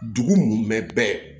Dugu mun bɛ bɛɛ